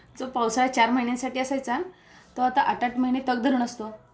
जो पावसाळा चार महिन्यांसाठी असायचा तो आता आठ आठ महिने तग धरून असतो